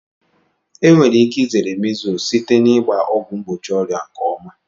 Enwere ike zere measles site na ịgba ọgwụ mgbochi ọrịa nke ọma.